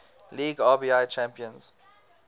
league rbi champions